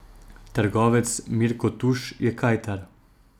Trgovec Mirko Tuš je kajtar.